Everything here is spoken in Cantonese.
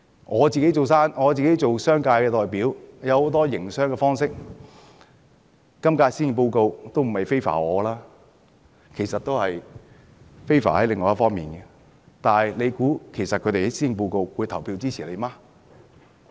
我身為商界代表，有很多的營商方式，今屆施政報告的內容都不是 favour 我，而是 favour 另一方面，但是，你猜他們會投票支持施政報告嗎？